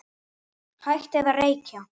Hættið að reykja!